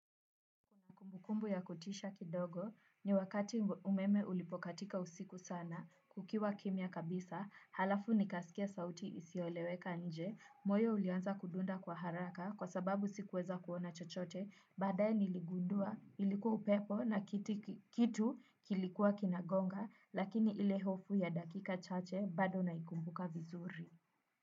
Mbu ya kutisha kidogo, ni wakati umeme ulipokatika usiku sana, kukiwa kimya kabisa, halafu nikaskia sauti isioleweka nje, moyo ulianza kudunda kwa haraka kwa sababu sikuweza kuona chochote, badaye niligundua, ilikuwa upepo na kiti kitu kilikuwa kinagonga, lakini ile hofu ya dakika chache bado naikumbuka vizuri.